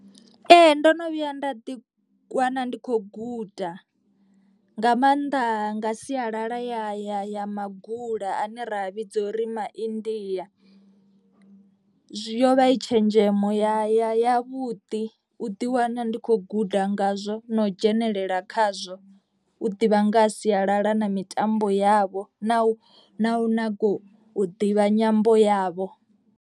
Ee ndo no vhuya nda ḓi wana ndi kho guda nga maanḓa nga sialala ya ya ya magula ane ra vhidza uri maindia. Zwi yo vha i tshenzhemo ya ya ya vhuḓi u ḓi wana ndi khou guda ngazwo na u dzhenelela khazwo. U ḓivha nga ha sialala na mitambo yavho na u na u nyaga u ḓivha nyambo yavho.